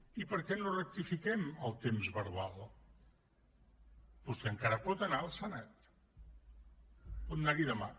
i per què no rectifiquem el temps verbal vostè encara pot anar al senat pot anar hi demà